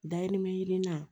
Dayirimɛ ɲini na